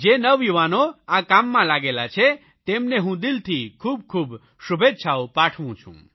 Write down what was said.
જે નવયુવાનો આ કામમાં લાગેલા છે તેમને હું દિલથી ખૂબખૂબ શુભેચ્છાઓ પાઠવું છું